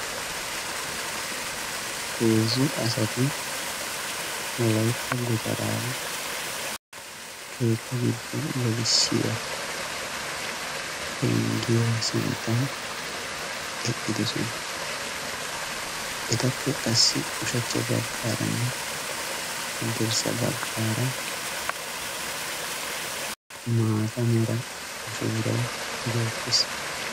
Heezzu asaati wolaytta gutaraa keetta gido gelissiya penggiya sinttan eqqidosona. Etappe qassi ushshacha baggaaranne haddirsa bagaara maataa mera buuray beetees.